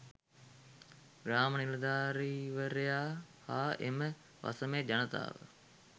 ග්‍රාම නිලධාරීවරයා හා එම වසමේ ජනතාව